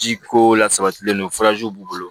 Ji ko la sabatilen don b'u bolo